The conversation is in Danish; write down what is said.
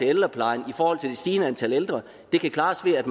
ældreplejen i forhold til det stigende antal ældre kan klares ved at